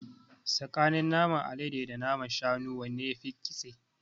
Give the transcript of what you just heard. Tsakanin naman alade da naman shanu wanne yafi ƙitse?